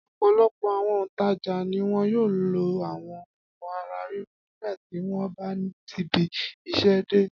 Ọ̀pọ̀lọpọ̀ àwọn òǹtajà ni wọn yóò lo àwọn òògùn ara ríro nígbà tí wọ́n bá tibi iṣẹ́ dé.